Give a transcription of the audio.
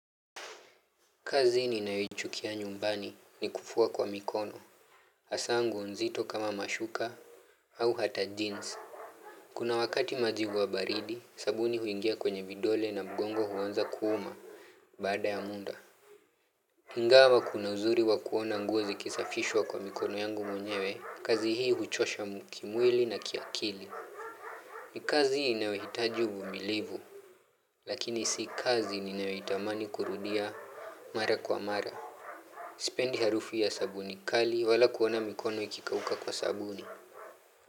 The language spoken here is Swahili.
Kazi ni ninayoichukia nyumbani ni kufua kwa mikono. Haza nguo nzito kama mashuka au hata jeans. Kuna wakati maji hua baridi, sabuni huingia kwenye vidole na mgongo huanza kuuma baada ya muda. Ingawa kuna uzuri wa kuona nguo zikisafishwa kwa mikono yangu mwenyewe. Kazi hii huchosha kimwili na kiakili. Nikazi inayohitaji uvumilivu. Lakini si kazi ninayo itamani kurudia mara kwa mara. Sipendi harufu ya sabuni kali wala kuona mikono ikikauka kwa sabuni.